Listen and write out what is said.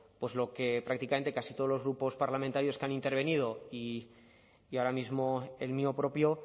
lo que prácticamente casi todos los grupos parlamentarios que han intervenido y ahora mismo el mío propio